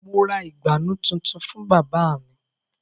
Mo ra ìgbànú tuntun fún bábà mu